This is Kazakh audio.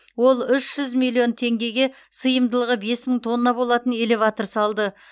ол үш жүз миллион теңгеге сыйымдылығы бес мың тонна болатын элеватор салды